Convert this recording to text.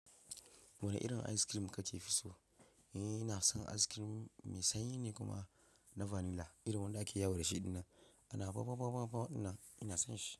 Wane irin ice cream kake fi so? Ni na son ice cream mai sanyi ne kuma na vanilla irin wanda ake yawo da shi ɗinan. A na ba-ba-ba-ba ina, ina son shi.